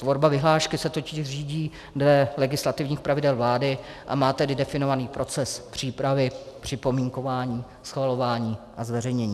Tvorba vyhlášky se totiž řídí dle legislativních pravidel vlády, a má tedy definovaný proces přípravy připomínkování, schvalování a zveřejnění.